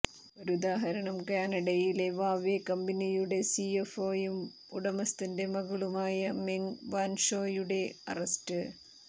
ഒരുദാഹരണം കാനഡയിൽ വാവ്വെ കമ്പനിയുടെ സിഎഫ്ഓയും ഉടമസ്ഥന്റെ മകളുമായ മെങ് വാൻഷോയുടെ അറസ്റ്റ്